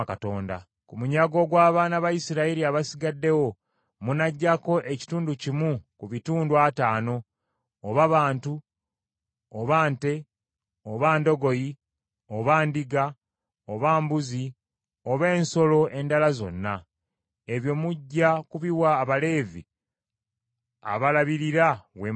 Ku munyago gw’abaana ba Isirayiri abasigaddewo munaggyako ekitundu kimu ku bitundu ataano, oba bantu, oba nte, oba ndogoyi, oba ndiga oba mbuzi oba ensolo endala zonna. Ebyo mujja kubiwa Abaleevi, abalabirira Weema ya Mukama .”